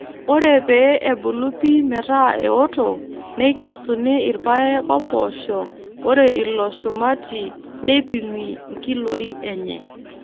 Ore pee ebulu pii meetaa eoto neikesuni irpaek oompoosho ore ilo shumati neipimi nkiloi enye.